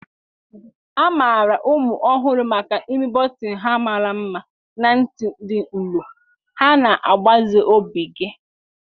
A maara ụmụ ọhụrụ maka imi bọtịnụ ha mara mma na ntì dị nro. Ha na-agbaze obi gị.